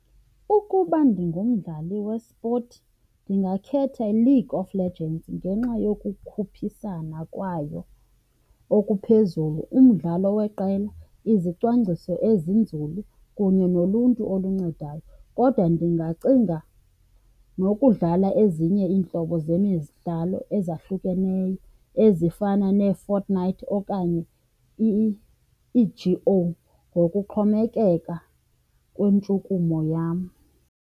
Ukuba ndingumdlali wespothi ndingakhetha iLeague of Legends ngenxa yokukhuphisana kwayo okuphezulu, umdlalo weqela, izicwangciso ezinzulu kunye noluntu oluncedayo. Kodwa ndingacinga nokudlala ezinye iintlobo zemidlalo ezahlukeneyo, ezifana neeFortnite okanye ii-G_O ngokuxhomekeka kwentshukumo yam.